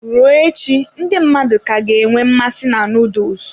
Ruo echi, ndị mmadụ ka ga-enwe mmasị na nuduls.